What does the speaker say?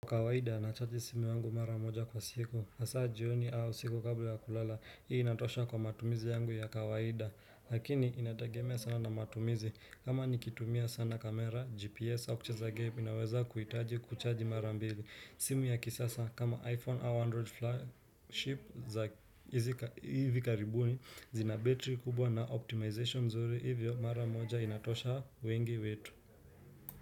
Kwa kawaida nachaji simu yangu mara moja kwa siku, hasa jioni au usiku kabla ya kulala, hii inatosha kwa matumizi yangu ya kawaida, lakini inatagemea sana na matumizi, kama nikitumia sana kamera, gps au kucheza game, inaweza kuhitaji kuchaji mara mbili, simu ya kisasa kama iphone au android flagship za hivi karibuni, zina betri kubwa na optimization nzuri, hivyo mara moja inatosha wengi wetu.